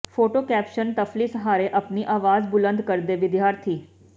photo caption ਡਫ਼ਲੀ ਸਹਾਰੇ ਆਪਣੀ ਆਵਾਜ਼ ਬੁਲੰਦ ਕਰਦੇ ਵਿਦਿਆਰਥੀ